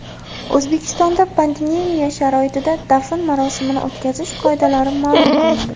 O‘zbekistonda pandemiya sharoitida dafn marosimini o‘tkazish qoidalari ma’lum qilindi.